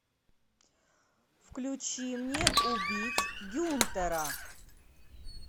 включи мне убить гюнтера